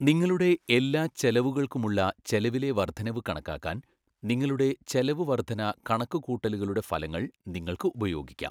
നിങ്ങളുടെ എല്ലാ ചെലവുകൾക്കുമുള്ള ചെലവിലെ വർദ്ധനവ് കണക്കാക്കാൻ നിങ്ങളുടെ ചെലവ് വർദ്ധന കണക്കുകൂട്ടലുകളുടെ ഫലങ്ങൾ നിങ്ങൾക്ക് ഉപയോഗിക്കാം.